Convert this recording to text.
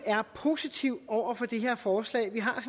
er positiv over for det her forslag vi har